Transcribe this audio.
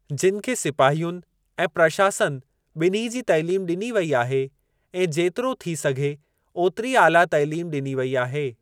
जिनि खे सिपाहियुनि ऐं प्रशासन ॿिन्ही जी तइलीम ॾिनी वेई आहे ऐं जेतिरो थी सघे ओतिरी आला तइलीम ॾिनी वेई आहे।